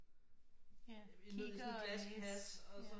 I nød i sådan et glas i hat og så